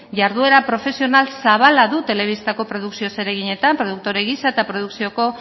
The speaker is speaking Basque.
jarduera profesional zabala du telebistako produkzio zereginetan produktore gisa eta produkzioko